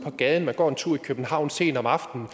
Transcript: på gaden og går en tur i københavn sent om aftenen